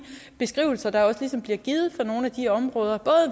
beskrivelser der også ligesom bliver givet af nogle af de områder